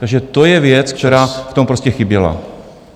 Takže to je věc, která v tom prostě chyběla.